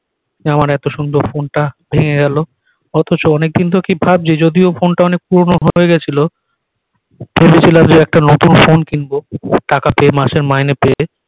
আমার এত সুন্দর ফোন টা ভেঙ্গে গেলো অথচ অনেক দিন তো কি ভাবছি যদিও ফোন টা অনেক পুরনো হয়ে গেছিল ভেবেছিলাম যে একটা নতুন ফোন কিনব টাকা পেয়ে মাসের মাইনে পেয়ে